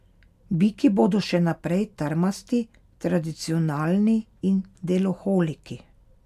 Biki bodo še naprej trmasti, tradicionalni in deloholiki.